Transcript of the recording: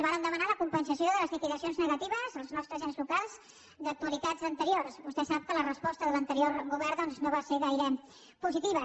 vàrem demanar la compensació de les liquidacions negatives als nostres ens locals d’anualitats anteriors vostè sap que la resposta de l’anterior govern doncs no va ser gaire positiva